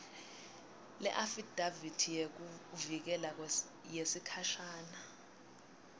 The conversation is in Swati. leafidavithi yekuvikeleka yesikhashana